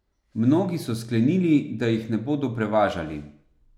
Mnogi so sklenili, da jih ne bodo prevažali.